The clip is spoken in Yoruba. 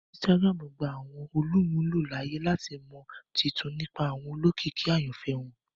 Instagram gba awọn olumulo laaye lati mọ tuntun nipa awọn olókìkí ayanfẹ wọn